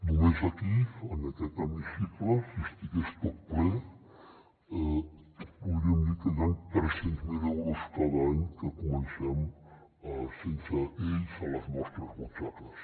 només aquí en aquest hemicicle si estigués tot ple podríem dir que hi han tres cents miler euros cada any que comencem sense ells a les nostres butxaques